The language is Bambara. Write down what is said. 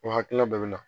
O hakilina dɔ bɛ na